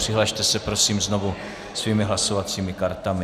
Přihlaste se prosím znovu svými hlasovacími kartami.